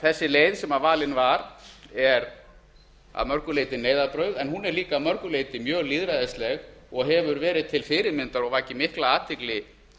þessi leið sem valin var er því að mörgu leyti neyðarbrauð en hún er líka að mörgu leyti mjög lýðræðisleg og hefur verið til fyrirmyndar og vakið mikla athygli